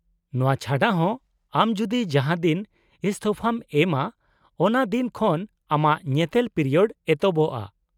-ᱱᱚᱶᱟ ᱪᱷᱟᱰᱟ ᱦᱚᱸ, ᱟᱢ ᱡᱩᱫᱤ ᱡᱟᱦᱟᱸ ᱫᱤᱱ ᱤᱥᱛᱷᱚᱯᱷᱟᱢ ᱮᱢᱟ ᱚᱱᱟ ᱫᱤᱱ ᱠᱷᱚᱱ ᱟᱢᱟᱜ ᱧᱮᱛᱮᱞ ᱯᱤᱨᱤᱭᱳᱰ ᱮᱛᱚᱦᱚᱵᱜᱼᱟ ᱾